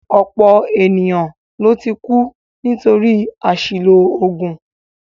Ọ̀pọ̀ ènìyàn ló ti kú nítorí àṣìlò oògùn